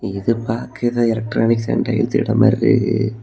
இது பாக்க எலக்ட்ரானிக் சேந்த எடம் மாதிரி தெரியுது.